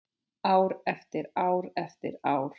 Ár eftir ár eftir ár.